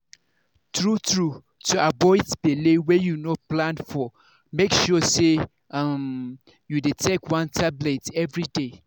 true-true to avoid belle wey you no plan for make sure say um you dey take one tablet everyday.